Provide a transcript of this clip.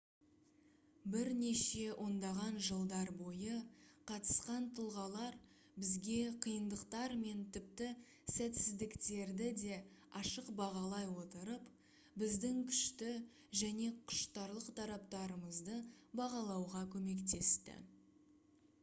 бірнеше ондаған жылдар бойы қатысқан тұлғалар бізге қиындықтар мен тіпті сәтсіздіктерді де ашық бағалай отырып біздің күшті және құштарлық тараптарымызды бағалауға көмектесті